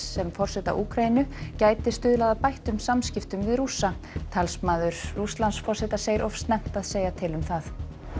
sem forseta Úkraínu gæti stuðlað að bættum samskipti við Rússa talsmaður Rússlandsforseta segir of snemmt að segja til um það